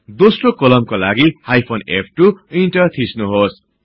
दोस्रो कोलमका लगि हाईफन फ2 इन्टर थिच्नुहोस्